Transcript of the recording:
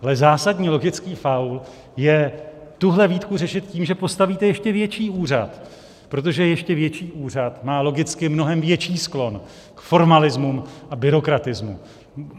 Ale zásadní logický faul je tuhle výtku řešit tím, že postavíte ještě větší úřad, protože ještě větší úřad má logicky mnohem větší sklon k formalismu a byrokratismu.